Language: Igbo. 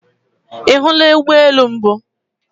Ihula Ugbo elu mbu?